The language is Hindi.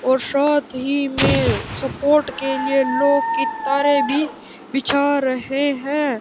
और साथ ही में सपोर्ट के लिए लोह की तारें भी बिछा रहे हैं।